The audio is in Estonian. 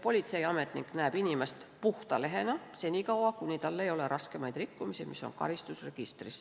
Politseiametnik näeb inimest puhta lehena senikaua, kuni tal ei ole raskemaid rikkumisi, mis on karistusregistris.